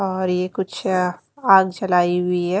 और ये कुछ अ आग जलाई हुई है।